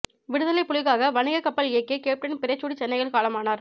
விடுதலைப் புலிகளுக்காக வணிக கப்பல் இயக்கிய கேப்டன் பிறைசூடி சென்னையில் காலமானார்